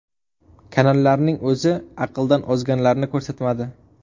Kanallarning o‘zi aqldan ozganlarni ko‘rsatmadi.